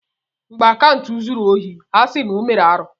Mgbe Akantụ zuru ohi a sị na ọ mere arụ́.